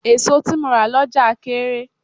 Èso tí mo rà lọ́jà kééré.